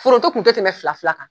Foronto kun tɛ tɛmɛ fila fila kan.